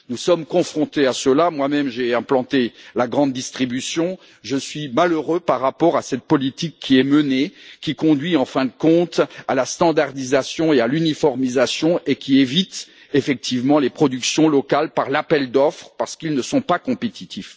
Nous sommes confrontés à cette situation. J'ai moi même implanté la grande distribution et je suis malheureux par rapport à cette politique qui est menée, qui conduit, en fin de compte, à la normalisation et à l'uniformisation et qui contourne les productions locales lors des appels d'offres parce qu'elles ne sont pas compétitives.